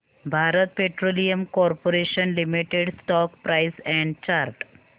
Bharat Petroleum Corporation Limited stock price and chart